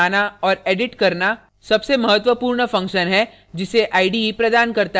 source files को बनाना और एडिट करना सबसे महत्वपूर्ण function है जिसे ide प्रदान करता है